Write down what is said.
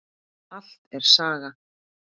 Allt er saga.